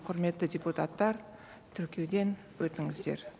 құрметті депутаттар тіркеуден өтіңіздер